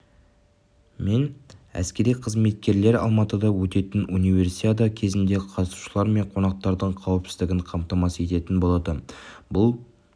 мен әскери қызметкерлер алматыда өтетін универсиада кезінде қатысушылар мен қонақтардың қауіпсіздігін қамтамасыз ететін болады бұл